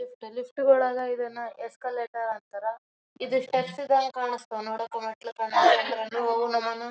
ಹುಡುಗುರಿಗ ಆಡಾಕ್ ಹಚ್ಯಾರ್ ಏನೊ ಗಾದಿಗೊಳ್. ಇರ್ತಾವ ಅವ್ ಏನೇನೋ ಕಲರ್ ಕಲರ್ ಲೈಟ್ಸ್ ಗೇಟ್ಸ್. ಭಾಳ್ ಚಂದ್ ಚಂದ್ ಇರ್ತಾವ ಹುಡುಗುರಿಗ್ ಆಡಾಕ್. ಹುಡುಗುರ್ ಭಾಳ್ ಎಂಜಾಯ್ ಮಾಡಾಕ ಏನರ ತಗಕ ಭಾಳ ಉಸ್ ಆಕ--